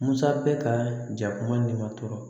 Musa bɛ ka jakuma tɔrɔ